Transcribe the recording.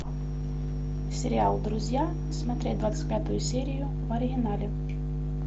сериал друзья смотреть двадцать пятую серию в оригинале